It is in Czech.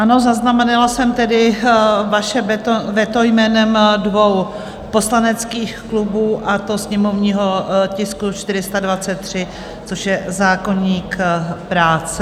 Ano, zaznamenala jsem tedy vaše veto jménem dvou poslaneckých klubů, a to sněmovního tisku 423, což je zákoník práce.